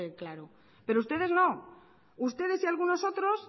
claro pero ustedes no ustedes y algunos otros